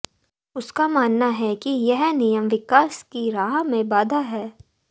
उसका मानना है कि यह नियम विकास की राह में बाधा हैं